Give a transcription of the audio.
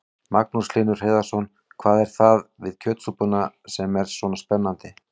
Magnús Hlynur Hreiðarsson: Hvað er það við kjötsúpuna sem er svona spennandi?